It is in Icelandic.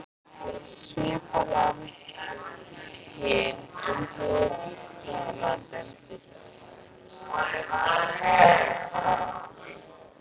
Svipað á við um hin Norðurlöndin.